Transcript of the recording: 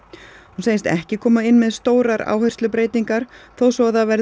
hún segist ekki koma inn með stórar áherslubreytingar þó svo að það verði